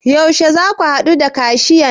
Yaushe zaka haɗu da kashiyan?